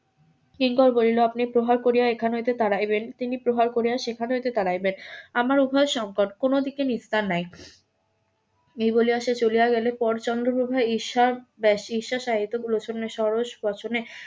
কিংকর বলিল আপনি প্রহার করিয়া এখানে হইতে তাড়াইবেন তিনি প্রহার করিয়া সেখান হইতে তাড়াইবেন আমার উভয় সংকট কোনো দিকে নিস্তার নেই এই বলিয়া সে চলিয়া গেলে পর চন্দ্রপ্রভার ঈর্ষার . ষড়স বচনে